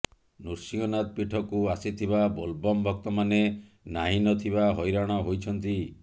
ନୃସିଂହନାଥ ପୀଠକୁ ଆସିଥିବା ବୋଲବମ ଭକ୍ତ ମାନେ ନାହିଁ ନ ଥିବା ହଇରାଣ ହୋଇଛନ୍ତି